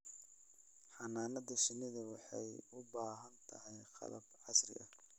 Xannaanada shinnidu waxay u baahan tahay qalab casri ah.